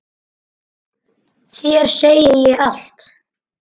Þér segi ég allt.